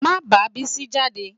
Má bá Bísí jáde